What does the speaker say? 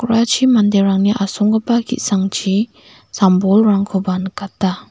uachi manderangni asonggipa ki·sangchi sam bolrangkoba nikata.